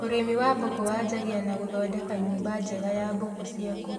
Ũrĩmi wa mbũkũ wanjagia na gũthondeka nyũmba njega ya mbũku ciaku